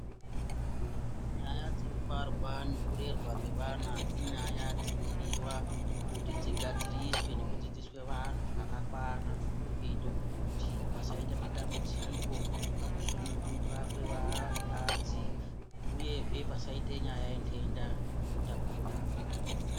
Nyaya dzekubarwa nekurerwa kwevana inyaya dzinodiwa kuti dzigadziriswe neku dzidzidziswe vantu zvakakwana. Kuite kuti pasaite matambudziko pakusununguka kwevakadzi, uyezve pasaite nyaya yentenda ino tapuriranwa.